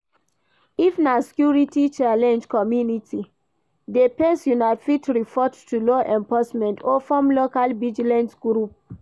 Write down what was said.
If na security challenge community dey face una fit report to law enforcement or form local vigilante group